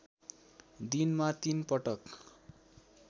दिनमा तीन पटक